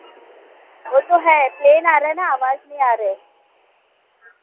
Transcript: वो तो है plane आ रहे ना आवाज नही रहे